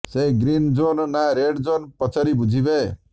ସେ green zone ନା red zone ପଚାରି ବୁଝିବେ